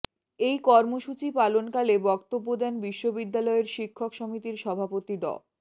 এই কর্মসূচি পালনকালে বক্তব্য দেন বিশ্ববিদ্যালয়ের শিক্ষক সমিতির সভাপতি ড